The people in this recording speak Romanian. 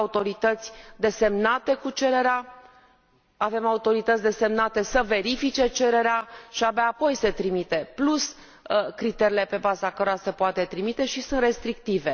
Avem autorități desemnate cu cererea, avem autorități desemnate să verifice cererea și abia apoi se trimite, plus criteriile pe baza cărora se poate trimite și sunt restrictive.